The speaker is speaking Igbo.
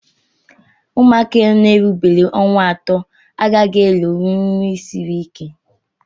Ụmụaka erubeghị ọnwa atọ agaghị elonwunri nri siri ike